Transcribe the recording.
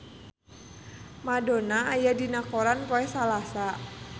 Madonna aya dina koran poe Salasa